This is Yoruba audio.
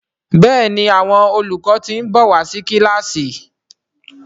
Béèni Àwọn olùkọ tin nbọ wá sí kilasi.